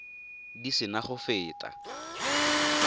di se na go feta